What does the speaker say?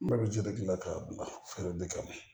N ba bi jɛgɛ gilan k'a bila feere de kama